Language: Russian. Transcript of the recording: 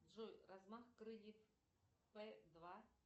джой размах крыльев п два